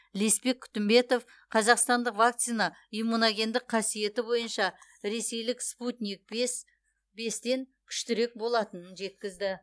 ілеспек күтімбетов қазақстандық вакцина иммуногендік қасиеті бойынша ресейлік спутник бестен күштірек болатынын жеткізді